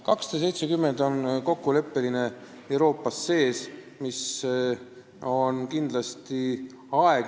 270 päeva on Euroopas kokkuleppeline periood.